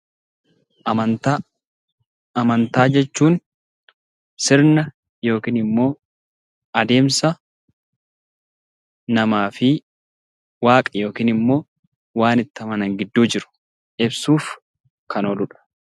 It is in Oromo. Amantaa Amantaa jechuun sirna yookiin immoo adeemsa namaa fi waaqa ( waan itti amanan) gidduu jiru ibsuuf kan ooluu dha.